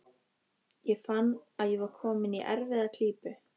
Ég fann að ég var kominn í erfiða klípu.